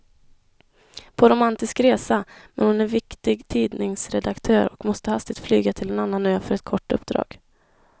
På romantisk resa, men hon är viktig tidningsredaktör och måste hastigt flyga till en annan ö för ett kort uppdrag.